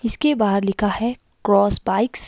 इसके बाहर लिखा है क्रॉस बाइक्स --